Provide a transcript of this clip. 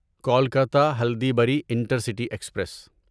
Kolkata Haldibari intercity express